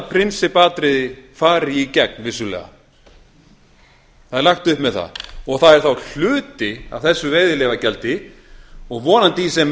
prinsippatriði fari í gegn vissulega og það er þá hluti af þessu veiðileyfagjaldi og vonandi í sem